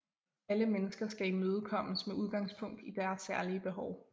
Alle mennesker skal imødekommes med udgangspunkt i deres særlige behov